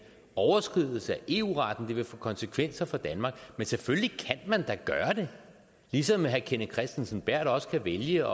overskridelse af eu retten og at det vil få konsekvenser for danmark men selvfølgelig kan man da gøre det ligesom herre kenneth kristensen berth også kan vælge